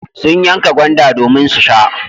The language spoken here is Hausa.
Sun yanka gwanda domin su sha.